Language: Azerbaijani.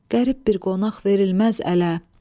Qərib bir qonaq verilməz ələ.